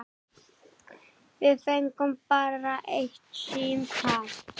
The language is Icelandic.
Við fengum bara eitt símtal.